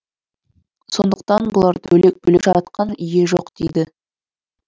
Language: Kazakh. сондықтан бұларды бөлек бөлек жаратқан ие жоқ дейді